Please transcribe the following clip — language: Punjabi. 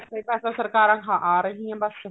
ਇਹ ਪੈਸਾ ਸਰਕਾਰਾਂ ਖਾ ਰਹੀਆਂ ਬੱਸ